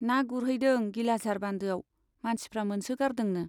ना गुरहैदों गिलाझार बान्दोआव , मानसिफ्रा मोनसो गारदोंनो।